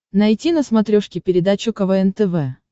найти на смотрешке передачу квн тв